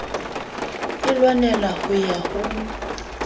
e lwanela ho ya ho